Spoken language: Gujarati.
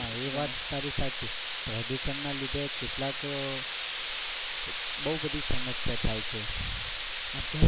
સાચી પ્રદુશન ના લીધે કેટલાક બઉ બધી સમસ્યા થાય છે.